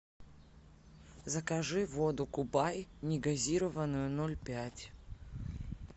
закажи воду кубай негазированную ноль пять